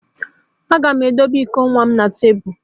Aga m edebe iko nwa m na tebụl